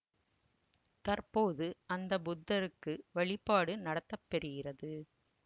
தற்போது அந்த புத்தருக்கு வழிபாடு நடத்தப்பெறுகிறது